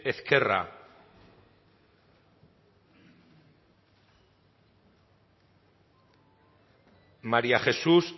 ezquerra maría jesús